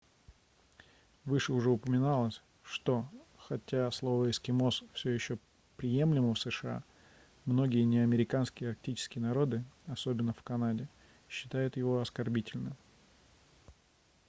выше уже упоминалось что хотя слово эскимос все еще приемлемо в сша многие неамериканские арктические народы особенно в канаде считают его оскорбительным